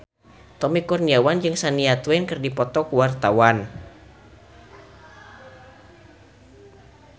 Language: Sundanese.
Tommy Kurniawan jeung Shania Twain keur dipoto ku wartawan